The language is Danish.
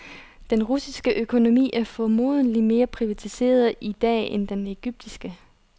Den russiske økonomi er formodentlig mere privatiseret i dag end den egyptiske.